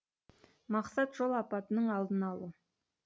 мақсат жол апатының алдын алу